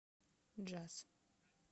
джаз